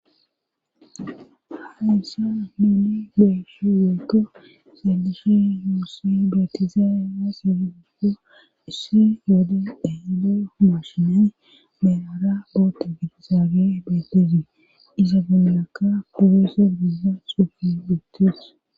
haysan nuni beyishin woyko sadishe huossi betizaae wa segiguigo isse yoode ehedeo mashinay belara boota bidizaage betezi iza gonlaka puweses giiza xufi betes